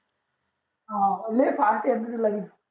हान लय fast लागेल